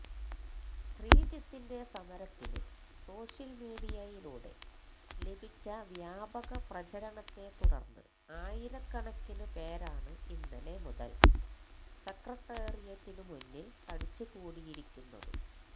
ശ്രീജിത്തിന്റെ സമരത്തിന് സോഷ്യല് മീഡിയയിലൂടെ ലഭിച്ച വ്യാപക പ്രചരണത്തെ തുടര്ന്ന് ആയിരക്കണക്കിന് പേരാണ് ഇന്നലെ മുതല് സെക്രട്ടേറിയറ്റിന് മുന്നില് തടിച്ചുകൂടിയിരിക്കുന്നത്